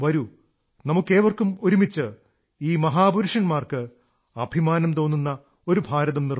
നമുക്കേവർക്കും ഒരുമിച്ച് ഈ മഹാപുരുഷന്മാർക്ക് അഭിമാനം തോന്നുന്ന ഒരു ഭാരതം നിർമ്മിക്കാം